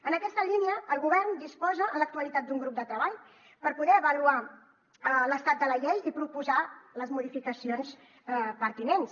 en aquesta línia el govern disposa en l’actualitat d’un grup de treball per poder avaluar l’estat de la llei i proposar ne les modificacions pertinents